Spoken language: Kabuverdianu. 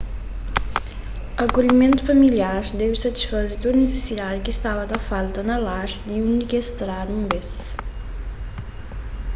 akolhimentu familiar debe satisfaze tudu nisisidadi ki staba ta falta na lar di undi ki es tradu un bês